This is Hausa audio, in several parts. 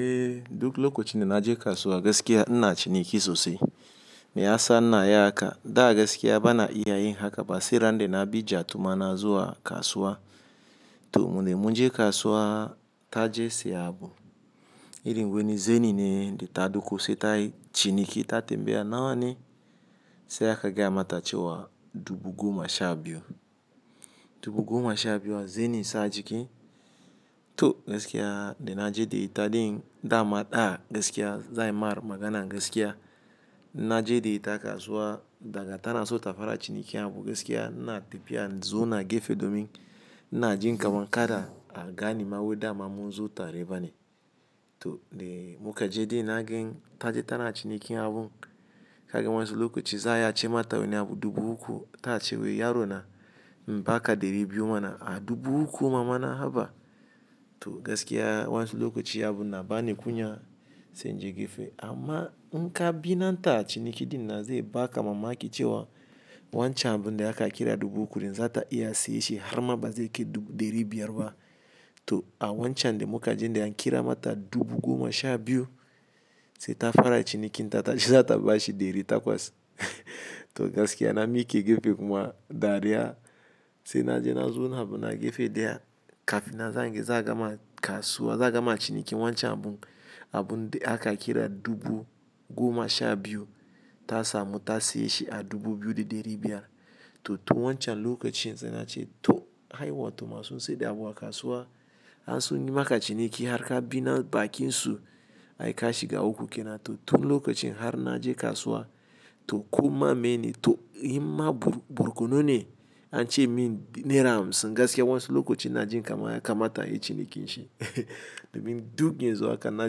Eh, duk lokacin da na je kasuwa gaskiya ina ci niki sosai. Me ya sa ina yin haka? Da gaskiya ba na iya yin haka ba. Seran da na bi jattuma na zuwa kasuwa. To, wonne mun je kasuwa ta je siya abu. Irin wani zani ne da ta doko sai tayi ci niki ta tambaya nawa ne, sai aka gaya mata cewa dubu goma sha biyu. Dubu goma sha biyu a zani sa ajiki to gaskiya dai na je da itaɗin da mada gaskiya zan yi ma magana gaskiya. Na je da ita kasuwa daga tana na so ta fara cinikin abu gaskiya ina tepiya in zo na agefe domin ina jin kaman kada a gane ma wai dama mun zo tare bane. To de muka je de na gan ta je tana cinikin abun. Kagan wansu lokaci za a ce mata wani abu dubu uku ta ce wai yaro na imbaka ɗeri biyu mana a dubu uku mama na haba. To gaskiya wansu lokaci abun na ba ni kunya sai in je gefe. Amma in ka bi nan ta ciniki din nan zai ba ka mamaki cewan wancan abun da aka kira dubu uku za ta iya siyar shi har ma ba zai kai dubu ɗeri biyar ba. To a wancan de muka je de an kira mata dubu goma sha biyu sai ta fara cinikin ta tace zata bashi ɗeri takwas. To gaskiya na miƙe gefe kuma dariya sai na je na zo na abu na gefe daya kafin nan zenga za a gama kasuwa, za a gama ciniki wancan abun abun da aka kira dubu goma sha biyu ta samu ta siye shi a dubu biyu da ɗari biyar. To, tun wancan lokacin sena ce to haiwa to masu sai da abu a kasuwa. An sun yi maka ciniki har ka bi na bakin su ai ka shiga uku ke nan. To tun lokacin har na je kasuwa to koma meyene to in ma burkunu ne an ce min naira hamsin gaskiya wansu lokacin ina jin kaman ya kamata inyi cinikin shi. Domin duk yanzu haka na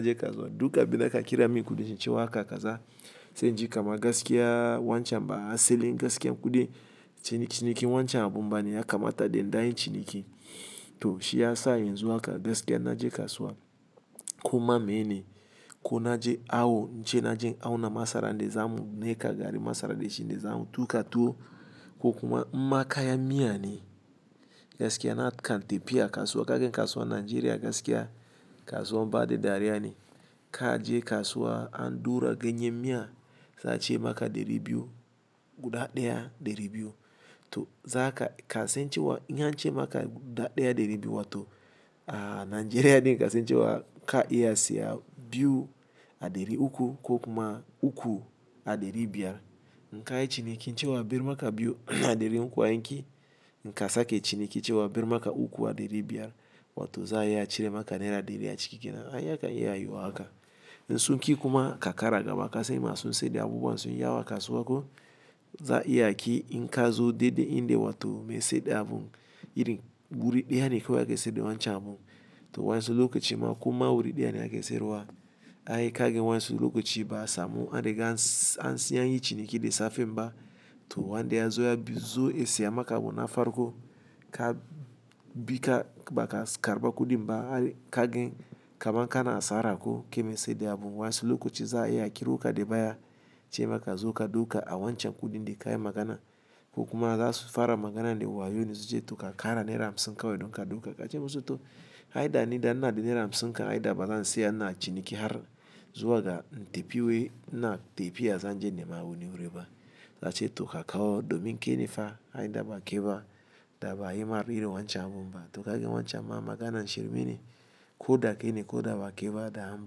je kasuwa duk abin da ka kira min kudin shi cewa haka ka za sai in ji kaman gaskiya wancan ba a selin gaskiya kudin cinikin wancan abun bane ya kamata dai in daiyi ciniki. To shi ya sa yanzu haka gaskiya inna je kasuwa koma meyene ko na je awo in ce na je in awna masara dai zamu nika gari masara dai shine zamu tuƙa tuwo ko kuma in ma kayan miya ne. Gaskiya kan tafiya kasuwa kagan kasuwan nigeria gaskiya kasuwan bada dariya ne. Ka je kasuwa an ɗura ganyen miya za a ce maka ɗeri biyu guda ɗaya ɗeri biyu. To za ka sen ce wa in an ce maka guda ɗaya ɗeri biyu wato a Najeriya din ka sen wa ka iya siya biyu a ɗeri uku ko kuma uku a ɗeri biyar. In ka yi cinikin ce wa a ɓer maka biyu a ɗeri uku an ƙi. In ka sake ciniki ce wa ɓer maka uku a ɗeri biyar wato za a iya cire maka naira ɗeri a ciki ke nan. Ai yakan iya yiwuwa haka. In sun ƙi kuma ka ƙara gaba ka sen masu sai da abubuwan su yi yawa a kasuwa ko za a iya ki in ka zo dai dai in da wato mai sai da abun irin wuri ɗaya ne kawai ake seya da wancan abun. To wa yensu lokaci koma awuri dayane ake seyarwa ai kagan wasu lokaci ba'a samu an riga se anyi ciniki de safenba to wanda ya zo ya bi zo in siya maka abu na farko ko ka bi ka karɓa kuɗin ba ar kagan kamar ka na asara ko ke mai sai da abu wansu lokacin za a iya a kiro ƙa dai baya ce maka zo ka doka a wancan kuɗin de ka yi magana ko kuma za su fara maganan da wayo ne su ce to ka ƙara naira hamsin kawai don ka doka. Ka ce musu to ai da ni da ina da naira hamsin kan ai da ba zan siya ina ciniki har zuwa ga in tepiya we ina tepiya zan je in nemi wani wuri ba. Za ce to ka kawo domin ke nefa ai da ba kai ba da ba'a yi ma irin wancan abun ba. To kaga wancan ma maganan shir mene ko da ke ne ko da ba kai ban da an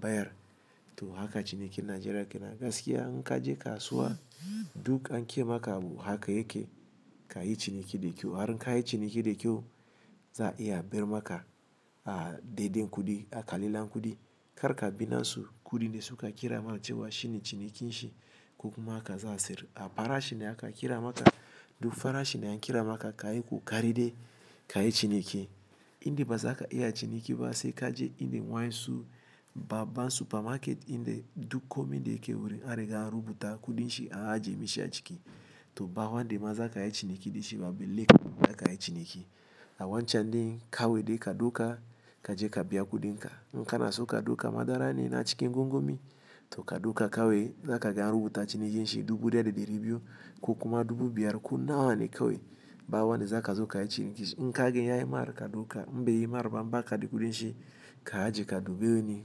bayar. To haka cinikin Najeriya ke nan gaskiya in ka je kasuwa duk an ke maka abu haka yake ka yi ciniki da kyau. Har in ka yi ciniki da kyau za a iya a ɓer maka a de den kuɗi aka lilla kuɗi. Kar ka bi nan su kuɗin da suka kira ma ce wa shine cinikin shi ko kuma haka za a sayar. A fara shine aka kira maka duk fara shine de an kira maka ka yi ko ƙaride ka yi ciniki. In dai ba za ka iya ciniki ba sai ka je in dai wansu babban supermarket in dai duk komai dai ke wurin. An riga an rubuta kuɗin shi a ajie mashi a ciki. To ba wanda ma za ka yi ciniki da shi ba. Balle ka yi ciniki. A wancan din kawai dai ka doka ka je ka biya kuɗin ka. In ka na so ka duka madara ne na cikin gongomi to ka doka kawai za ka ga an rubuta cinikin shi dubu ɗaya da ɗari biyu ko kuma dubu biyar ko nawa ne kawai ba wanda za ka zo ka yi ciniki shi. In kagan yayi mar ka doka, in bai yi mar ba, baka da kuɗin shi ka aje ka dube wani.